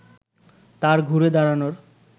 তার ঘুরে দাঁড়ানোর